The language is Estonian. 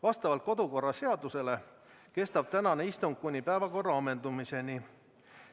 Vastavalt kodu- ja töökorra seadusele kestab tänane istung kuni päevakorra ammendumiseni.